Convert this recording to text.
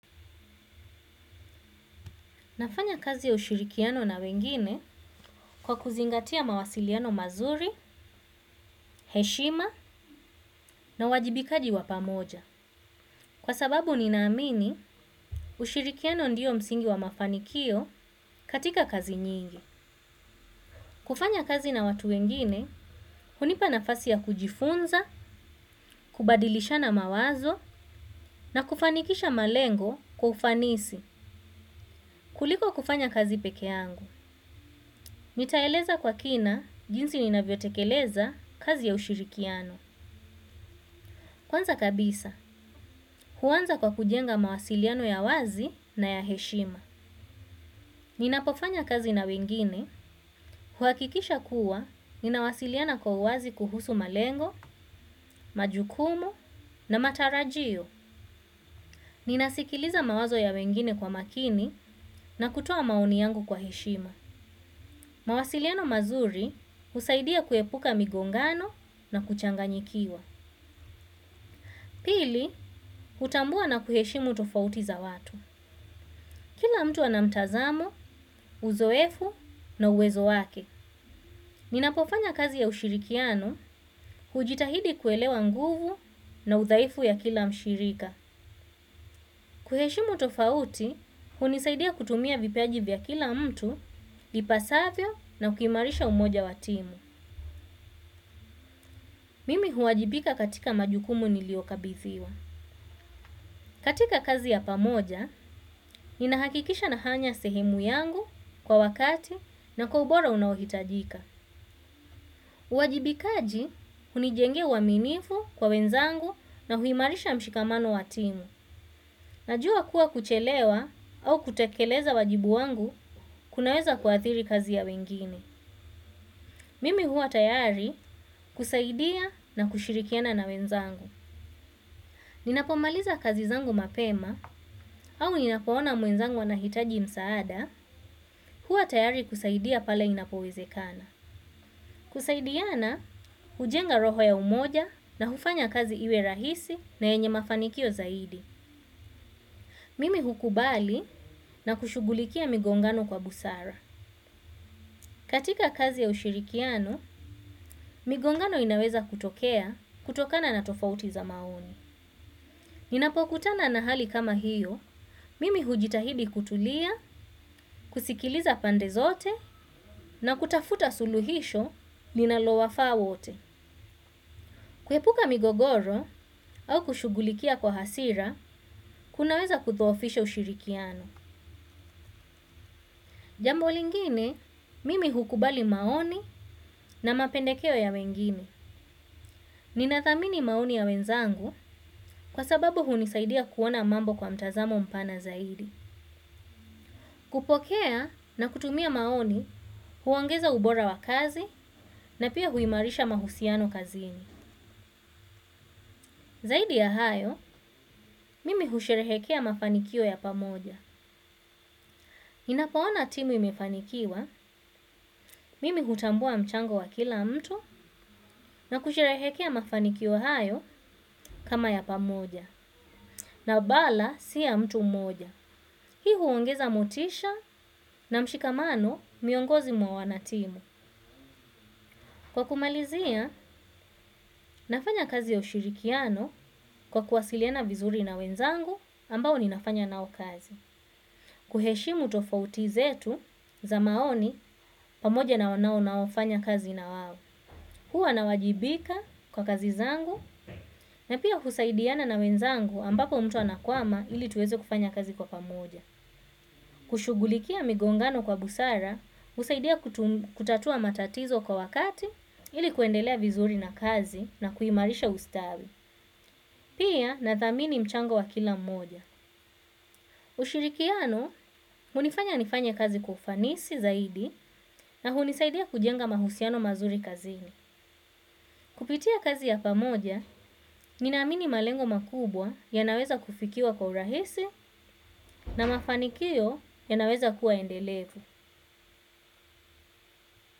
Nafanya kazi ya ushirikiano na wengine kwa kuzingatia mawasiliano mazuri, heshima na wajibikaji wa pamoja. Kwa sababu ninaamini, ushirikiano ndiyo msingi wa mafanikio katika kazi nyingi. Kufanya kazi na watu wengine, hunipa nafasi ya kujifunza, kubadilishana mawazo na kufanikisha malengo kwa ufanisi. Kuliko kufanya kazi peke yangu. Nitaeleza kwa kina jinsi ninayo tekeleza kazi ya ushirikiano. Kwanza kabisa, huanza kwa kujenga mawasiliano ya wazi na ya heshima. Ninapofanya kazi na wengine, huhakikisha kuwa ninawasiliana kwa wazi kuhusu malengo, majukumu na matarajio. Ninasikiliza mawazo ya wengine kwa makini na kutoa maoni yangu kwa heshima. Mawasiliano mazuri husaidia kuepuka migongano na kuchanganyikiwa. Pili, hutambua na kuheshimu tofauti za watu. Kila mtu ana mtazamo uzoefu na uwezo wake. Ninapofanya kazi ya ushirikiano, hujitahidi kuelewa nguvu na udhaifu ya kila mshirika. Kuheshimu tofauti hunisaidia kutumia vipaji vya kila mtu ipasavyo na ukimarisha umoja wa timu. Mimi huwajibika katika majukumu niliyokabithiwa. Katika kazi ya pamoja, ninahakikisha nafanya sehemu yangu kwa wakati na kwa ubora unaohitajika. Uwajibikaji hunijengea uaminifu kwa wenzangu na huimarisha mshikamano wa timu najua kuwa kuchewa au kutekeleza wajibu wangu ku aweza kuathiri kazi ya wengine. Mimi huwa tayari kusaidia na kushirikiana na wenzangu. Ninapomaliza kazi zangu mapema au ninapo ona mwenzangu wanahitaji msaada huwa tayari kusaidia pale inapowezekana. Kusaidiana hujenga roho ya umoja na hufanya kazi iwe rahisi na yenye mafanikio zaidi mimi hukubali na kushughulikia migongano kwa busara katika kazi ya ushirikiano migongano inaweza kutokea kutokana na tofauti za maoni ninapo kutana na hali kama hiyo mimi hujitahidi kutulia kusikiliza pande zote na kutafuta suluhisho linalo wafaa wote. Kuepuka migogoro au kushughulikia kwa hasira kunaweza kudhoofisha ushirikiano. Jambo lingine mimi hukubali maoni na mapendekeo ya wengine. Ninathamini maoni ya wenzangu kwa sababu hunisaidia kuona mambo kwa mtazamo mpana zaidi. Kupokea na kutumia maoni, huongeza ubora wa kazi na pia huimarisha mahusiano kazini. Zaidi ya hayo, mimi husherehekea mafanikio ya pamoja. Ninapo ona timu imefanikiwa mimi hutambua mchango wa kila mtu na kusherehekea mafanikio hayo kama ya pamoja na wala si ya mtu mmoja. Hii huongeza motisha na mshikamano miongozi mwa wanatimu. Kwa kumalizia, nafanya kazi ya ushirikiano kwa kuwasiliana vizuri na wenzangu ambao ninafanya nao kazi. Kuheshimu tofauti zetu za maoni pamoja nao nao naofanya kazi na wao. Huwa na wajibika kwa kazi zangu na pia husaidiana na wenzangu ambapo mtu anakwama ili tuweze kufanya kazi kwa pamoja. Kushughulikia migongano kwa busara husaidia kutatua matatizo kwa wakati ili kuendelea vizuri na kazi na kuimarisha ustawi. Pia na thamini mchango wa kila mmoja. Ushirikiano, hunifanya nifanya kazi kwa ufanisi zaidi na hunisaidia kujenga mahusiano mazuri kazini. Kupitia kazi ya pamoja, nina amini malengo makubwa yanaweza kufikiwa kwa urahisi na mafanikio yanaweza kuwa endelevu.